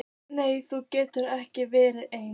Nei þú getur ekki verið ein.